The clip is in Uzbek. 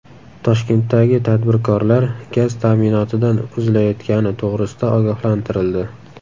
Toshkentdagi tadbirkorlar gaz ta’minotidan uzilayotgani to‘g‘risida ogohlantirildi.